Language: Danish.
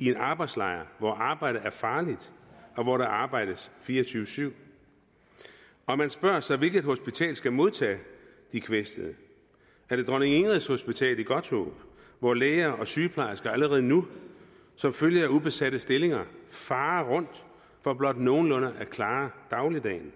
i en arbejdslejr hvor arbejdet er farligt og hvor der arbejdes fire og tyve syv og man spørger sig hvilket hospital der skal modtage de kvæstede er det dronning ingrids hospital i godthåb hvor læger og sygeplejersker allerede nu som følge af ubesatte stillinger farer rundt for blot nogenlunde at klare dagligdagen